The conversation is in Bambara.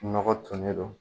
Nɔgɔ tonnen don